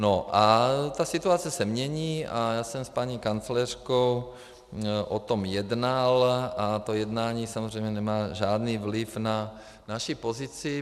No a ta situace se mění a já jsem s paní kancléřkou o tom jednal a to jednání samozřejmě nemá žádný vliv na naši pozici.